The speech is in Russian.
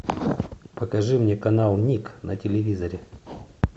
покажи мне канал ник на телевизоре